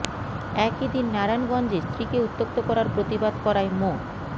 একই দিন নারায়ণগঞ্জে স্ত্রীকে উত্ত্যক্ত করার প্রতিবাদ করায় মো